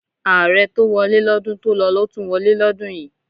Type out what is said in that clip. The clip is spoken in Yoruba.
Ààrẹ tó wọlé lọ́dún tó lọ ló tún wọlé lọ́dún yìí.